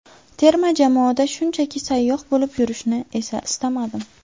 Terma jamoada shunchaki sayyoh bo‘lib yurishni esa istamadim.